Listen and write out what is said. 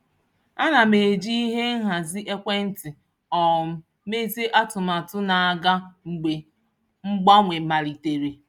Ana m eji ihe nhazi ekwentị um mezie atụmatụ na-aga mgbe mgbanwe malitere.